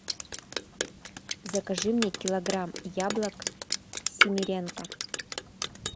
закажи мне килограмм яблок семеренко